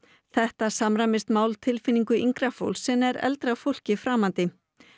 þetta samræmist máltilfinningu yngra fólks en er eldra fólki framandi